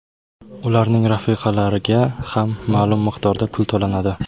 Ularning rafiqalariga ham ma’lum miqdorda pul to‘lanadi.